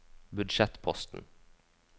budsjettposten